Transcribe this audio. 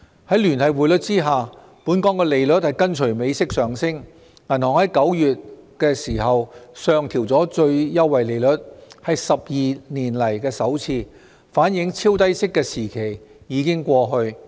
在聯繫匯率下，本港利率跟隨美息上升，銀行在9月上調最優惠利率，是12年來首次，反映超低息的時期已經過去。